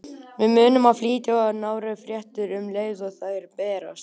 Við munum flytja nánari fréttir um leið og þær berast.